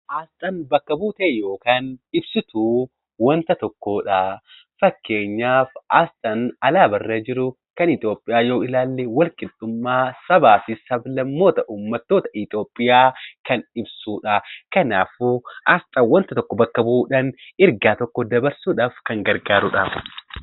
Aasxaan bakka buutee yookiin ibsituu wanta tokkoo dha. Fakkeenyaaf aasxaan alaabaa Itoophiyaa irra jiru walqixxummaa sabaa fi sab-lammoota uummattoota Itoophiyaa kan ibsuudha. Kanaafuu aasxaan wanta tokko bakka bu'uudhaan ergaa tokko dabarsuudhaaf kan gargaaruudha.